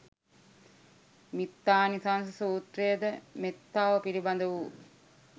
මිත්තානිසංස සූත්‍රය ද මෙත්තාව පිළිබඳ වූ,